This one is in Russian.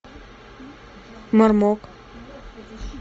мармок